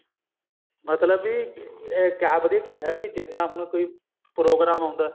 ਮਤਲਬ ਕੀ ਇੱਕ ਆਪਦੀ ਕਿਹਾ ਵੀ ਜਿਦਾਂ ਕੋਈ ਹੁਣ ਪ੍ਰੋਗਰਾਮ ਆਉਂਦਾ